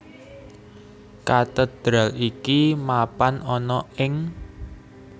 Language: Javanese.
Katedral iki mapan ana ing